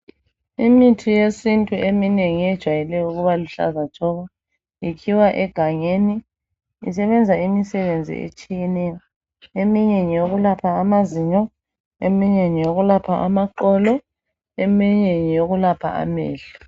Imithi yesintu eminengi ijayele ukuba luhlaza tshoko. Ikhiwa egangeni njalo isebenza imisebenzi etshiyeneyo. Eminye ngeyokwelapha , amazinyo , amaqolo kanye lamehlo.